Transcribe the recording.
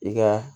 I ka